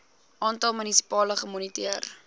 aantal munisipaliteite gemoniteer